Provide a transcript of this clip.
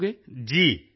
ਪੱਕਾ ਦੱਸੋਗੇ